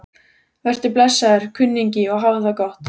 Vertu blessaður, kunningi, og hafðu það gott.